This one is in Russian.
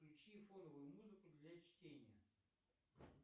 включи фоновую музыку для чтения